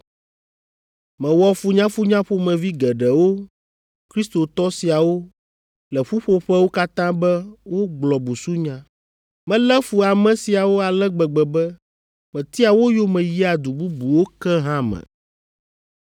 Mewɔ funyafunya ƒomevi geɖewo Kristotɔ siawo le ƒuƒoƒewo katã be wogblɔ busunya. Melé fu ame siawo ale gbegbe be metia wo yome yia du bubuwo ke hã me.